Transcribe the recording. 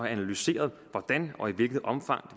analyseret hvordan og i hvilket omfang